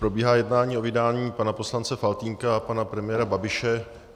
Probíhá jednání o vydání pana poslance Faltýnka a pana premiéra Babiše.